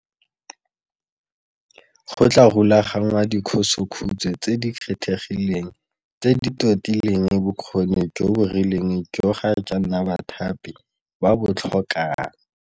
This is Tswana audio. Go tla rulaganngwa dikhosokhutshwe tse di kgethegileng tse di totileng bokgoni jo bo rileng joo ga jaana bathapi ba bo tlhokang.